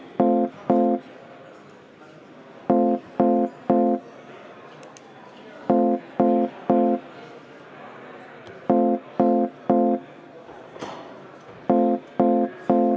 Võtan juhataja vaheaja kümme minutit.